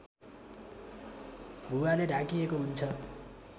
भुवाले ढाकिएको हुन्छ